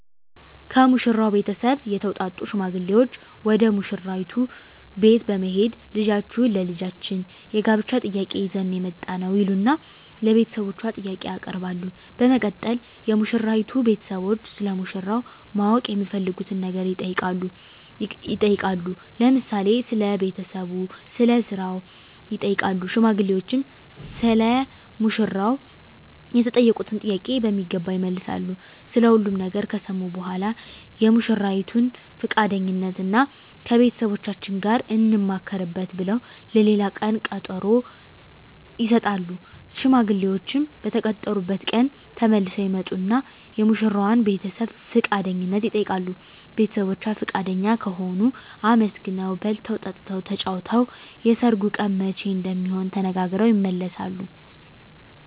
ከሙሽራው ቤተሰብ የተውጣጡ ሽማግሌዎች ወደ ሙሽራይቱ ቤት በመሄድ ልጃችሁን ለልጃችን የጋብቻ ጥያቄ ይዘን ነው የመጣነው ይሉና ለቤተሰቦቿ ጥያቄ ያቀርባሉ በመቀጠል የሙሽራይቱ ቤተሰቦች ስለ ሙሽራው ማወቅ የሚፈልጉትን ነገር ጥያቄ ይጠይቃሉ ለምሳሌ ስለ ቤተሰቡ ስለ ስራው ይጠይቃሉ ሽማግሌዎችም ሰለ ሙሽራው የተጠየቁትን ጥያቄ በሚገባ ይመልሳሉ ስለ ሁሉም ነገር ከሰሙ በኃላ የሙሽራይቱን ፍቃደኝነት እና ከቤተሰቦቻችን ጋር እንማከርበት ብለው ለሌላ ቀን ቀጠሮ ይሰጣሉ። ሽማግሌዎችም በተቀጠሩበት ቀን ተመልሰው ይመጡና የሙሽራዋን ቤተሰብ ፍቃደኝነት ይጠይቃሉ ቤተሰቦቿ ፍቃደኛ ከሆኑ አመስግነው በልተው ጠጥተው ተጫውተው የሰርጉ ቀን መቼ እንደሚሆን ተነጋግረው ይመለሳሉ።